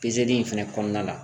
Pezeli in fɛnɛ kɔnɔna la